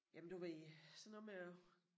Jamen du ved sådan noget med at